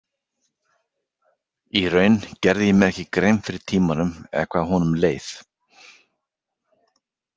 Í raun gerði ég mér ekki grein fyrir tímanum eða hvað honum leið.